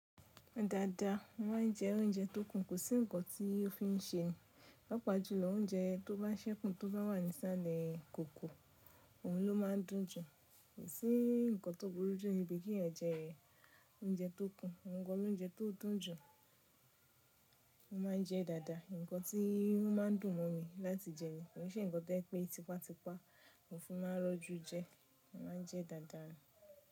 Dáadáa, mo ma ń jẹ oúnjẹ tó kúnkùn, kò sí nǹkan tí ó fi n ṣe ní, pàápàá jú lọ oúnjẹ tó bá ṣẹ́kùn tó bá wà nísàlẹ̀ ìkòkò, òun ló má ń dùn jù. Kò sí nǹkan tó burú jù níbi kí èèyàn jẹ oúnjẹ tó kún, òhun gan ni oúnjẹ tó dùn jù, mo ma ń jẹ dáadáa. Nǹkan tí o ma ń dùn mọ́ mi láti jẹ ni, kò n ṣe nǹkan to jẹ pé tipátipá mo fi ma n rọ́jú jẹ, mo ma ń jẹ dáadáa ni.